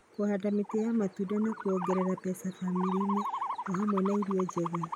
Kũhanda mĩtĩ ya matunda no kuongerere mbeca bamĩrĩ-inĩ o hamwe na irio njega.